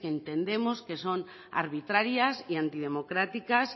que entendemos que son arbitrarias y antidemocráticas